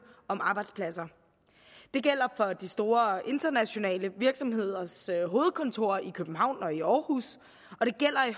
om arbejdspladser det gælder for de store internationale virksomheders hovedkontorer i københavn og i aarhus og det gælder i